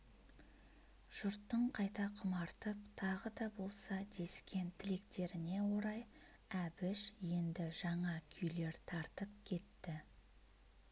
жұрттың қайта құмартып тағы да болса дескен тілектеріне орай әбіш енді жаңа күйлер тартып кетті